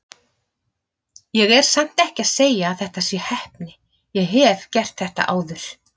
Ég er samt ekki að segja að þetta sé heppni, ég hef gert þetta áður.